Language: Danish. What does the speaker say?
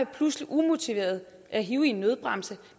pludseligt og umotiveret at hive i en nødbremse